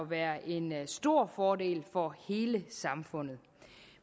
være en stor fordel for hele samfundet